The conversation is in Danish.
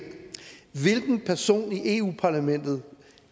hvilken person i eu parlamentet